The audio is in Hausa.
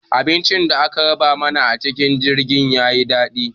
Abincin da aka raba mana a cikin jirgin ya yi daɗi.